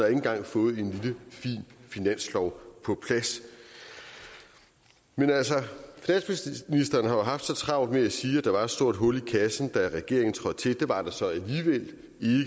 engang fået en lille fin finanslov på plads men altså statsministeren har jo haft så travlt med at sige at der var et stort hul i kassen da regeringen trådte til det var der så alligevel